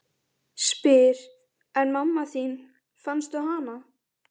Spyr: En mamma þín, fannstu hana?